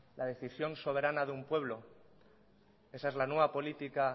la decisión soberana de un pueblo esa es la nueva política